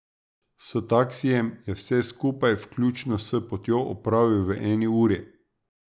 S taksijem je vse skupaj, vključno s potjo, opravil v eni uri.